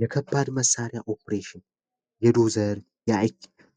የከባድ መሳሪያ ኦፕሬሽን የዶዘር